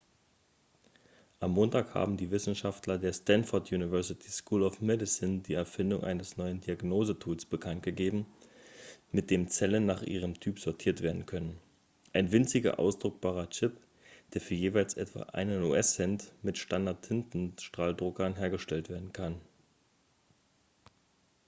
am montag haben die wisenschaftler der stanford university school of medicine die erfindung eines neuen diagnosetools bekanntgegeben mit dem zellen nach ihrem typ sortiert werden können ein winziger ausdruckbarer chip der für jeweils etwa einen us-cent mit standard-tintenstrahldruckern hergestellt werden kann